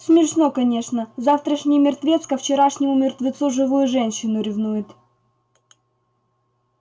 смешно конечно завтрашний мертвец ко вчерашнему мертвецу живую женщину ревнует